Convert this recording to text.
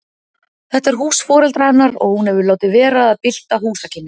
Þetta er hús foreldra hennar og hún hefur látið vera að bylta húsakynnum.